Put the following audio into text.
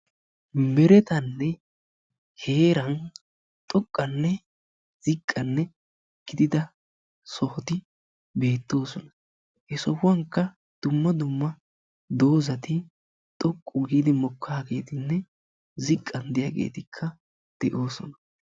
Meretanne heeran xoqqanne ziqqanne gidida sohoti beettoosona; he sohuwankka dumma dumma doozati xoqqu gididi mokaagetinne ziqqan de'iyaageetikka de'oosona.